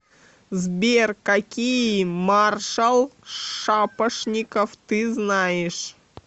сбер какие маршал шапошников ты знаешь